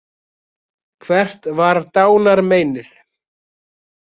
Hvert var dánarmeinið?